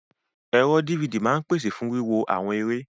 Ẹ̀rọ DVD máa ń pese fún wíwo àwọn eré.